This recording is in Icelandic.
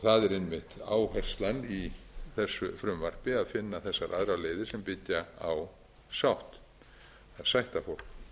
það er einmitt áherslan í þessu frumvarpi að finna þessar aðrar leiðir sem byggja á að sætta fólk